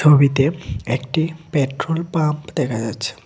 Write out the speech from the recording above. ছবিতে একটি petrol pump দেখা যাচ্ছে।